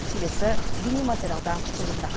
келесі бейнематериалда толығырақ